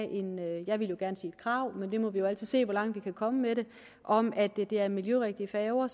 jeg ville gerne sige et krav men vi må jo altid se hvor langt vi kan komme med det om at det er miljørigtige færger